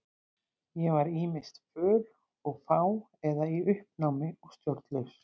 Ég var ýmist föl og fá eða í uppnámi og stjórnlaus.